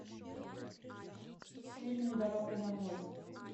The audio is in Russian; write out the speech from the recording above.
фильм дорога домой